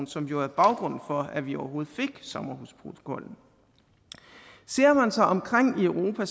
som jo er baggrunden for at vi overhovedet fik sommerhusprotokollen ser man sig omkring i europa